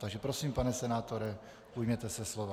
Takže prosím, pane senátore, ujměte se slova.